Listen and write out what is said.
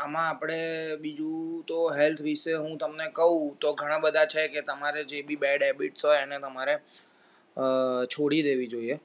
આમાં આપણે બીજું તો હું health વિષે હું તમને કહું તો ઘણા બધા છે કે તમારે જેવી bad habits એને તમારે અ છોડી દેવી જોઈએ